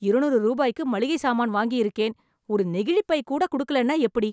இருநூறு ரூபாய்க்கு மளிகை சாமான் வாங்கி இருக்கேன் ஒரு நெகிழிப்பை கூட குடுக்கலன எப்பிடி